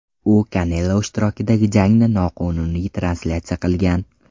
U Kanelo ishtirokidagi jangni noqonuniy translyatsiya qilgan.